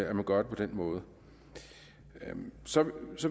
at man gør det på den måde så